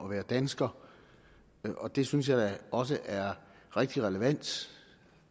at være dansker det synes jeg da også er rigtig relevant